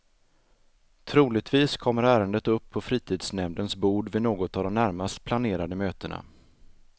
Troligtvis kommer ärendet upp på fritidsnämndens bord vid något av de närmast planerade mötena.